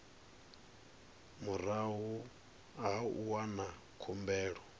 murahu ha u wana khumbelo